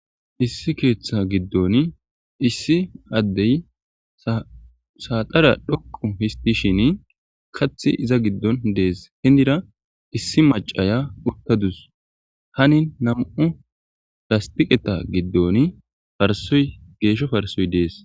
Issi keeththa giddon issi addey saaxara dhoqu histishin kathi iza giddon dees hindira issi macaya uttadus hanin nam7u rastiqeta giddon farsoy geeshsho farsoy dees